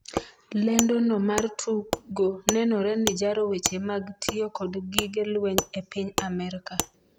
lendo no mar tugo nenore ni jaro weche mag tiyo kod gige lweny e piny Amerka